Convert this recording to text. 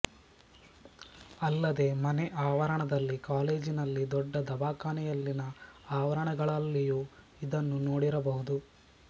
ಅಲ್ಲದೇ ಮನೆ ಆವರಣದಲ್ಲಿ ಕಾಲೇಜಿನಲ್ಲಿ ದೊಡ್ಡ ದವಾಖಾನೆಯಲ್ಲಿನ ಆವರಣಗಳಲ್ಲಿಯೂ ಇದನ್ನು ನೋಡಿರ ಬಹುದು